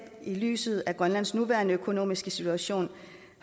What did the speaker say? lyset af grønlands nuværende økonomiske situation